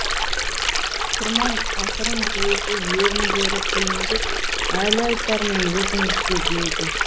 құрман ақырын көзі еріндері күлімдеп әлі айтармын өзіңізге деді